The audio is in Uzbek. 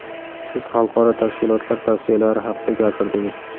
Siz xalqaro tashkilotlar tavsiyalari haqida gapirdingiz.